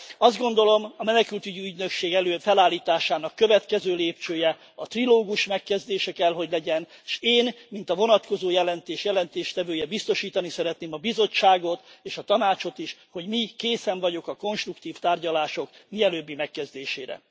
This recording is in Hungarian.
Azt gondolom, a menekültügyi ügynökség felállításának következő lépcsője a trilógus megkezdése kell, hogy legyen, és én mint a vonatkozó jelentés jelentéstevője biztosítani szeretném a Bizottságot és a Tanácsot is, hogy mi készen vagyunk a konstruktív tárgyalások mielőbbi megkezdésére.